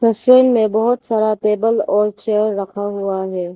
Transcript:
तस्वीर में बहोत सारा टेबल और चेयर रखा हुआ है।